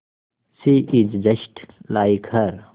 she is just like her